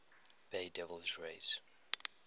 bay devil rays